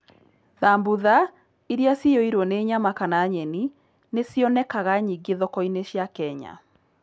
Thambutha, iria ciyũirũo nĩ nyama kana nyeni, nĩ cionekaga nyingĩ thoko-inĩ cia Kenya.